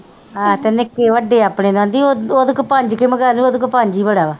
ਆਹੋ ਤੇ ਨਿੱਕੇ ਵੱਡੇ ਆਪਣੇ ਨੂੰ ਆਂਦੀ ਉਹਦੇ ਕੋ ਪੰਜ ਕਾ ਈ ਮੰਗਾ ਦੀ ਉਹਦੇ ਕੋ ਪੰਜ ਈ ਬੜਾ ਵਾ।